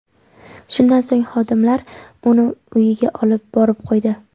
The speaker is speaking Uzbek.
Shundan so‘ng xodimlar uni uyiga olib borib qo‘ydi.